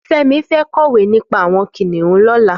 Femi fẹ̀ kọwé nipà awọn kiniùn lọ̀lá